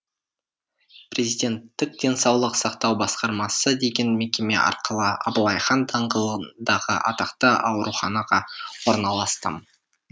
президенттік денсаулық сақтау басқармасы деген мекеме арқылы абылайхан даңғылындағы атақты ауруханаға орналастым